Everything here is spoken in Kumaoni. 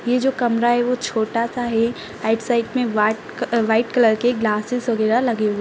ये जो कमरा है वो छोटा सा है राइट साइड में व्हाट-वाइट कलर के ग्लासेज वगेहरा लगे हुए --